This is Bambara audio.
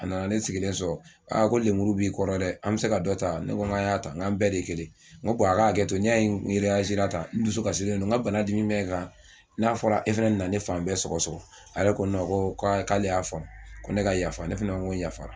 A nana ne sigilen sɔrɔ a ko lenburu b'i kɔrɔ dɛ an bɛ se ka dɔ ta ne n k'a y'a ta n k'an bɛɛ de kelen ye n ko a k'a hakɛto n'i y'a ye tan n dusukasilen don n ka bana dimi bɛ n kan n'a fɔra e fana na ne fan bɛɛ sɔgɔ sɔgɔ a yɛrɛ ko ko k'ale y'a faamu ko ne ka yafa ne fana ko n yafara